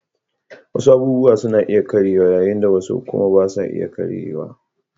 Wasu abubuwa suna karyewa yayin da wasu kuma ba sa iya karyewa